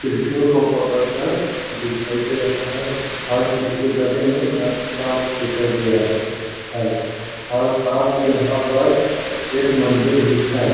श्रीषों को पकड़कर दिखाई दे रहा है और इसके गले में सांप दिखाई दे रहा है और साथ में यहां पर एक मंदिर भी है।